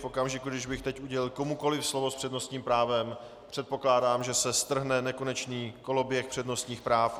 V okamžiku, kdy bych teď udělil komukoli slovo s přednostním právem, předpokládám, že se strhne nekonečný koloběh přednostních práv.